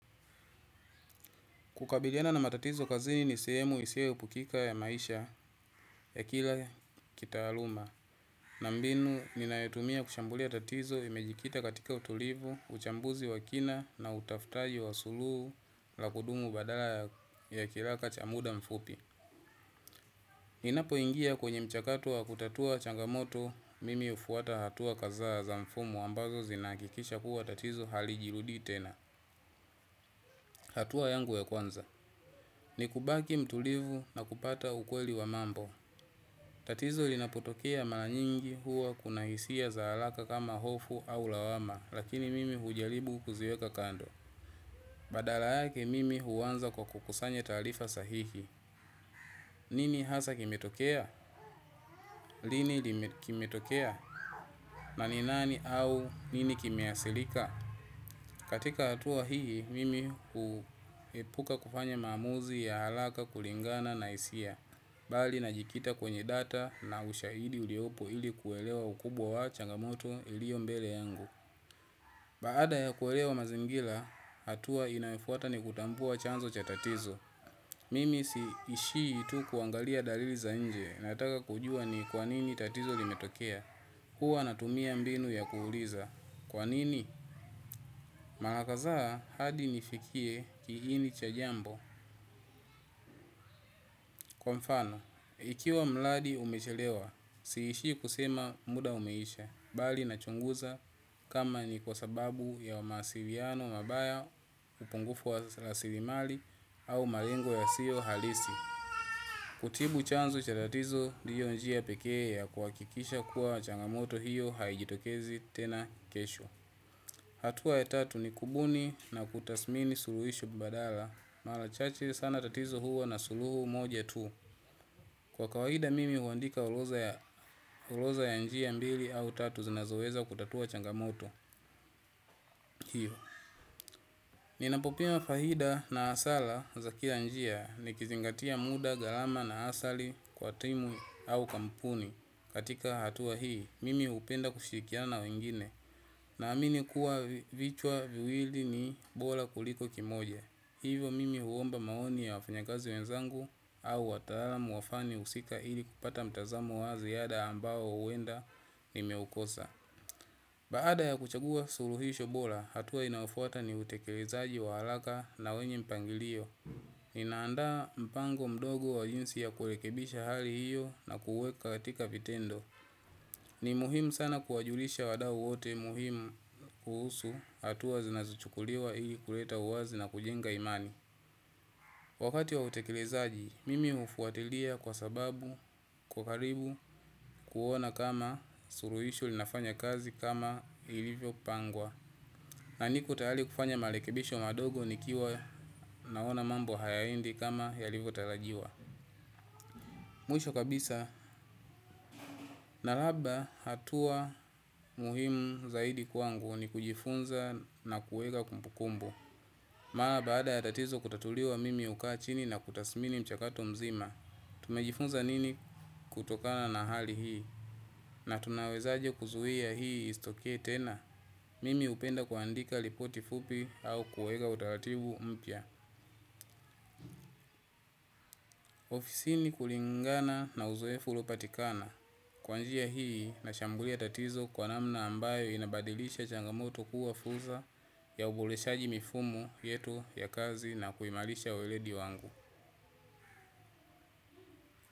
Kukabiliana na matatizo kazini sehemu isiyo epukika ya maisha ya kila kitaaluma. Na mbinu, ninayotumia kushambulia tatizo, limejikita katika utulivu, uchambuzi wa kina na utafutaji wa suluhu la kudumu badala ya kilaka cha muda mfupi. Ninapo ingia kwenye mchakato wa kutatua changamoto, mimi hufuata hatua kadhaa za mfumo ambazo zinahakikisha kuwa tatizo hali jirudii tena. Hatua yangu ya kwanza. Ni kubaki mtulivu na kupata ukweli wa mambo. Tatizo linapotokea mara nyingi huwa kuna hisia za haraka kama hofu au lawama lakini mimi hujaribu kuziweka kando. Badala yake mimi huanza kwa kukusanya taarifa sahihi. Nini hasa kimetokea? Lini kimetokea? Na ni nani au nini kimeathirika? Katika hatua hii, mimi huepuka kufanya maamuzi ya haraka kulingana na hisia. Bali najikita kwenye data na ushahidi uliopo ili kuelewa ukubwa wa changamoto ilio mbele yangu. Baada ya kuelewa mazingira hatua inayo fuata ni kutambua chanzo cha tatizo. Mimi si ishii tu kuangalia dalili za nje nataka kujua ni kwanini tatizo limetokea. Huwa natumia mbinu ya kuuliza. Kwa nini? Mara kadhaa hadi nifikie kiini cha jambo. Kwa mfano, ikiwa mradi umechelewa, siishi kusema muda umeisha, bali na chunguza kama ni kwa sababu ya mawasilano mabaya upungufu wa rasilimali au malengo yasiyo halisi. Kutibu chanzo cha tatizo ndio njia pekee ya kuhahikisha kuwa changamoto hiyo haijitokezi tena kesho. Hatua ya tatu ni kubuni na kutathmini suluhishu badala mara chache sana tatizo huwa na suluhu moja tu. Kwa kawaida mimi huandika urodha ya njia mbili au tatu zinazoweza kutatua changamoto hiyo. Ninapopima faida na hasara za kila njia nikizingatia muda gharama na athari kwa timu au kampuni katika hatua hii, mimi hupenda kushirikiana na wengine. Na amini kuwa vichwa viwili ni bora kuliko kimoja hivo mimi huomba maoni ya wafanyakazi wenzangu. Au wataalamu wafanye husika ili kupata mtazamo wa ziada ambao huenda nimeukosa. Baada ya kuchagua suluhisho bora, hatua inayofuata ni utekelezaaji wa haraka na wenye mpangilio. Ninandaa mpango mdogo wa jinsi ya kurekebisha hali hiyo na kuweka katika vitendo. Ni muhimu sana kuwajulisha wadau wote muhimu kuhusu hatua zinazuchukuliwa ili kuleta uwazi na kujenga imani. Wakati wa utekilizaji, mimi hufuatilia kwa sababu, kwa karibu, kuona kama suluhisho linafanya kazi kama ilivyo pangwa. Na niko tayari kufanya marekebisho madogo nikiwa naona mambo hayaendi kama yailivyo tarajiwa. Mwisho kabisa, na labda hatua muhimu zaidi kwangu ni kujifunza na kuweka kumbukumbu. Mara baada ya tatizo kutatuliwa mimi hukaa chini na kutathimini mchakato mzima, tumejifunza nini kutokana na hali hii, na tunawezaje kuzuia hii istokee tena. Mimi hupenda kuandika ripoti fupi au kuweka utaratibu mpya. Ofisini kulingana na uzoefu uliopatikana. Kwa njia hii nashambulia tatizo kwa namna ambayo inabadilisha changamoto kuwa fursa ya uboreshaji mifumo yetu ya kazi na kuimarisha uelezi wangu.